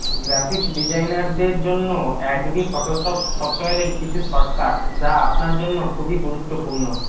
graphics ডিজাইনারদের জন্য Adobe Photoshop সফটওয়্যারের কিছু শর্টকার্ট যা আপনার জন্য খুবই গুরুত্ব পূর্ণ